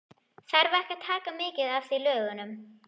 Þarf ekki að taka mið af því í lögunum?